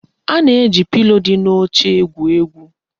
A na-eji pilo di n'oche egwu egwu.